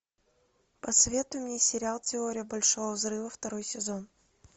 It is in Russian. посоветуй мне сериал теория большого взрыва второй сезон